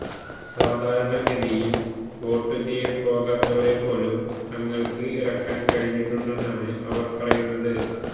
സാധാരണഗതിയിൽ വോട്ടു ചെയ്യാൻ പോകാത്തവരെപ്പോലും തങ്ങൾക്ക് ഇറക്കാൻ കഴിഞ്ഞിട്ടുണ്ടെന്നാണ് അവർ പറയുന്നത്